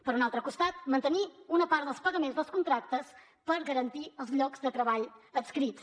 per un altre costat mantenir una part dels pagaments dels contractes per garantir els llocs de treball adscrits